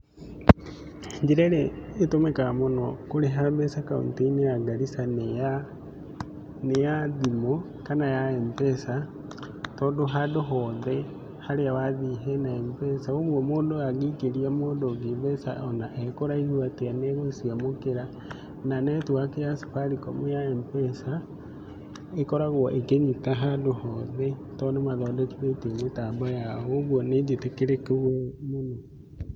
Njĩra ĩrĩa ĩtũmĩkaga mũno kũrĩha mbeca kaũntĩ-inĩ ya Garissa nĩ ya thimũ kana ya M-Pesa, tondũ handũ hothe harĩa wathiĩ hena M-Pesa. Ũguo mũndũ angĩikĩria mũndũ ũngĩ mbeca ona e kũraihu atĩa nĩ egũciamũkĩra. Na netiwaki ya Safaricom ya M-Pesa, ĩkoragwo ĩkĩnyita handũ hothe tondũ nimathondekithĩtie mĩtambo yao ũguo nĩ njĩtĩkĩrĩku mũno.